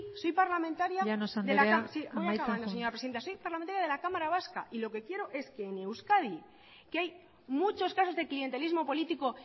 soy parlamentaria de la llanos anderea amaitzen joan sí voy acabando señora presidenta soy parlamentaria de la cámara vasca y lo que quiero es que en euskadi que hay muchos casos de clientelismo político